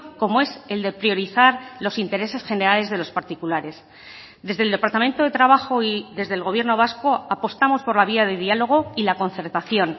como es el de priorizar los intereses generales de los particulares desde el departamento de trabajo y desde el gobierno vasco apostamos por la vía de diálogo y la concertación